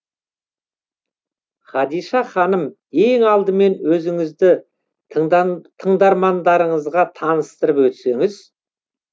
хадиша ханым ең алдымен өзіңізді тыңдармандарыңызға таныстырып өтсеңіз